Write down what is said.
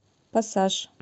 пассаж